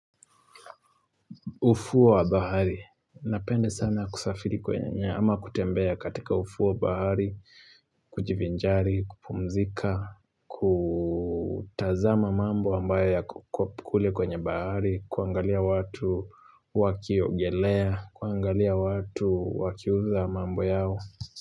Ufuo wa bahari, napenda sana kusafiri kwenye ama kutembea katika ufuo wa bahari, kujivinjari, kupumzika, kutazama mambo ambayo yako kule kwenye bahari, kuangalia watu wakiogelea, kuangalia watu wakiuza mambo yao.